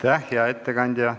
Aitäh, hea ettekandja!